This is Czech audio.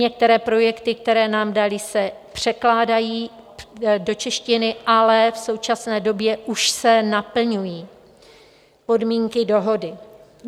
Některé projekty, které nám dali, se překládají do češtiny, ale v současné době už se naplňují podmínky dohody.